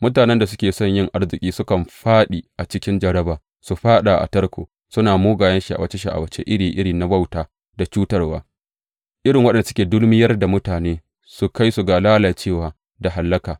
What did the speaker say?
Mutanen da suke son yin arziki sukan fāɗi cikin jarraba, su fāɗa a tarko, suna mugayen sha’awace sha’awace iri iri na wauta da cutarwa, irin waɗanda suke dulmuyar da mutane, su kai ga lalacewa da hallaka.